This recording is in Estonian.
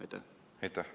Aitäh!